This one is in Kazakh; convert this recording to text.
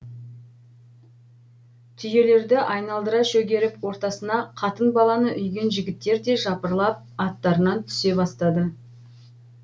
түйелерді айналдыра шөгеріп ортасына қатын баланы үйген жігіттер де жапырыла аттарынан түсе бастады